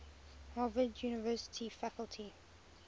harvard university faculty